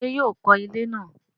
ṣé yóò kọ ilẹ́ náà?